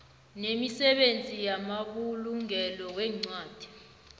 nemisebenzi yamabulungelo weencwadi